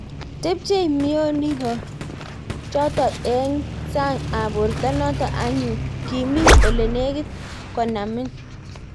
Tepchei mioningo chotok eng eng sang ap borto notok anyun kiimi olenegit konamin